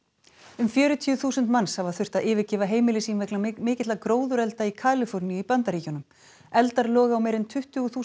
um fjörutíu þúsund manns hafa þurft að yfirgefa heimili sín vegna mikilla gróðurelda í Kaliforníu í Bandaríkjunum eldar loga á meira en tuttugu þúsund